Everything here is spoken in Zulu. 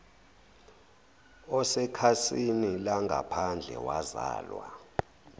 osekhasini langaphandle wazalwa